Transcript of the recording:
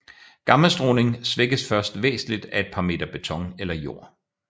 Gammastråling svækkes først væsentligt af et par meter beton eller jord